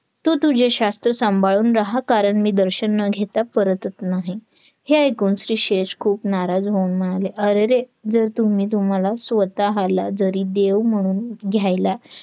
तू तुझे शास्त्र सांभाळून राहा कारण मी दर्शन न घेता परतत नाही हे ऐकून स्लीशेष खूप नाराज होऊन म्हणाले अरेरे जर तुम्ही तुम्हाला स्वताहाला जरी देव म्हणून घ्यायला